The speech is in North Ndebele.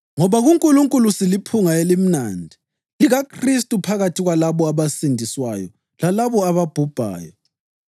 Ngoba kuNkulunkulu siliphunga elimnandi likaKhristu phakathi kwalabo abasindiswayo lalabo ababhubhayo.